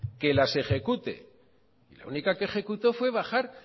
que las ejecute y la única que ejecutó fue bajar